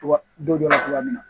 cogoya min na